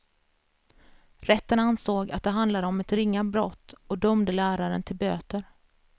Rätten ansåg att det handlade om ett ringa brott och dömde läraren till böter.